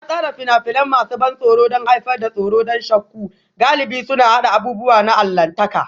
An tsara fina-finai masu ban tsoro don haifar da tsoro da shakku, galibi suna haɗa abubuwa na allahntaka